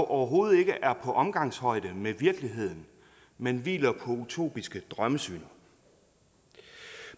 overhovedet ikke er på omgangshøjde med virkeligheden men hviler på utopiske drømmesyn